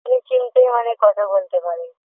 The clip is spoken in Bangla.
আমি চিমটি মানে কথা বলতে পারি